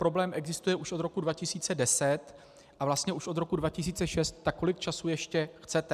Problém existuje už od roku 2010 a vlastně už od roku 2006, tak kolik času ještě chcete.